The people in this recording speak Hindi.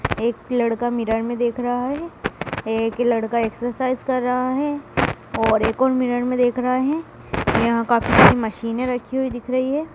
एक लड़का मिरर मे देख रहा है एक लड़का एक्सरसाइज कर रहा है और एक और मिरर मे देख रहा है यहां काफी सारी मशीनें रखी हुई दिख रही है।